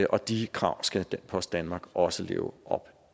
og de krav skal post danmark også leve op